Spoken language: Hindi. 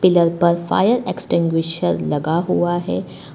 पिलर पर फायर एक्सटिंग्विशर लगा हुआ है।